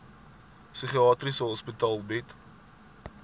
psigiatriese hospitale bied